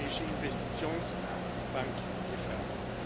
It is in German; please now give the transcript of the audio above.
Hier ist die Europäische Investitionsbank gefragt.